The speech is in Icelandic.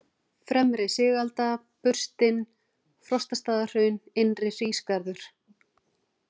Fremri-Sigalda, Burstin, Frostastaðahraun, Innri-Hrísgarður